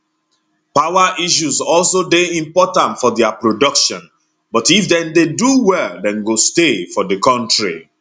power issues also dey important for dia production but if dem dey do well dem go stay for di kontri